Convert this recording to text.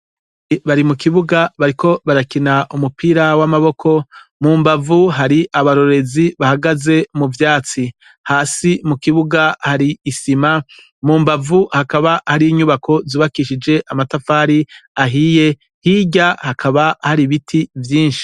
Bari mukibuga bariko barakina umupira w' amaboko mumbavu hari abarorerezi bahagaze muvyatsi hasi mukibuga hari isima mumbavu hakaba hari inyubako zubakishijwe amatafari ahiye hirya hakaba hari ibiti vyinshi.